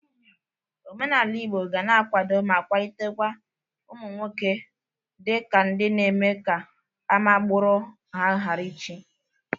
Omenala Igbo ga na-akwado ma kwalitekwa ụmụ nwoke dị ka ndị na-eme ka ama agbụrụ ha gara ichie.